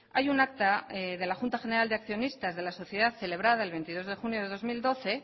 hay un acta de la junta general de accionistas de la sociedad celebrada el veintidós de junio de dos mil doce